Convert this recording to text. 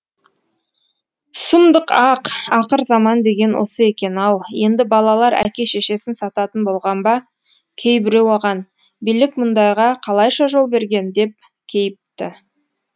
сұмдық ақ ақырзаман деген осы екен ау енді балалар әке шешесін сататын болған ба кейбіреу оған билік мұндайға қалайша жол берген деп кейіпті